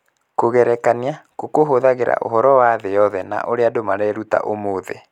Kũgerekania kũu kũhũthagĩra ũhoro wa thĩ yothe na ũrĩa andũ mareruta ũmũthĩ.